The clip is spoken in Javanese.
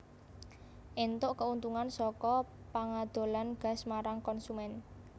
éntuk keuntungan saka pangadolan gas marang konsumen